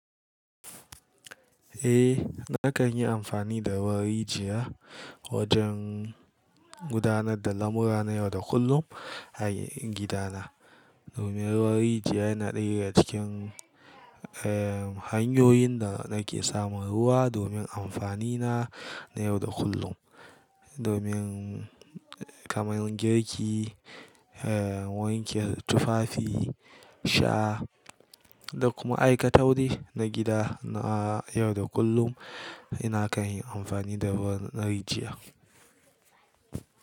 Eh, nakan yi amfani da ruwan rijiya wajen gudanar da lamura na yau da kullum a gida na. Domin ruwan rijiya yana ɗaya cikin, eh, hanyoyin da nake samun ruwa domin amfani na na yau da kullum. Domin kamar girki, eh, wanke tufafi, sha da kuma aikatau dai na gida na yau da kullum, ina kan yi amfani da ruwan rijiya.